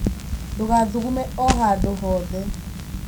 Ndũgathugume o handũ o hothe.